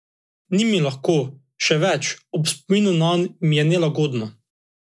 Ni mi lahko, še več, ob spominu nanj mi je nelagodno.